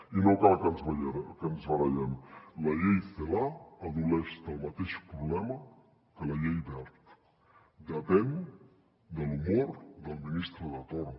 i no cal que ens barallem la llei celaá pateix el mateix problema que la llei wert depèn de l’humor del ministre de torn